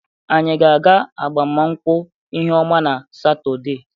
Anyị ga-aga agbamụnkwụ Ihụọma na Satọde.